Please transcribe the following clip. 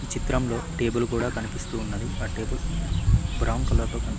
ఈ చిత్రంలో టేబుల్ గూడా కనిపిస్తూ ఉన్నది ఆ టేబుల్ బ్రౌన్ కలర్ లో కనిపి--